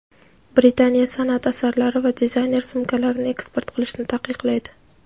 Britaniya sanʼat asarlari va dizayner sumkalarini eksport qilishni taqiqlaydi.